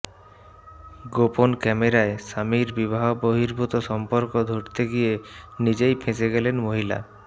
গোপন ক্যামেরায় স্বামীর বিবাহ বহির্ভূত সম্পর্ক ধরতে গিয়ে নিজেই ফেঁসে গেলেন মহিলা